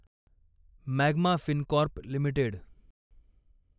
magma Fincorp limited